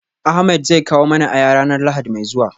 Ahmed zai kawo mana aya ranar lahadi mai zuwa